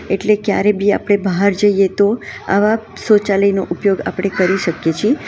એટલે ક્યારે બી આપડે બાહર જઈએ તો આવા સૌચાલયનો ઉપયોગ આપડે કરી શકીએ છીએ.